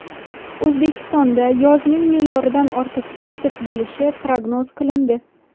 O‘zbekistonda yozning me’yoridan ortiq issiq bo‘lishi prognoz qilindi.